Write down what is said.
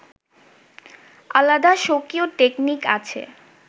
আলাদা স্বকীয় টেকনিক আছে